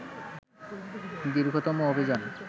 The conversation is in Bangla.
দীর্ঘতম অভিযান